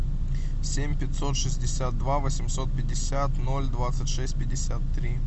семь пятьсот шестьдесят два восемьсот пятьдесят ноль двадцать шесть пятьдесят три